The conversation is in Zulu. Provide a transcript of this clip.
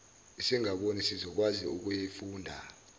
ezingaboni zizokwazi ukuyifunda